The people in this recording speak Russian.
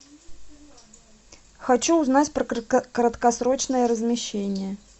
хочу узнать про краткосрочное размещение